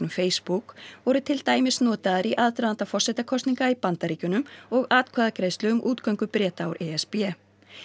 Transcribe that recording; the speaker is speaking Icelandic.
Facebook voru til dæmis notaðar í aðdraganda forsetakosninga í Bandaríkjunum og atkvæðagreiðslu um útgöngu Breta úr e s b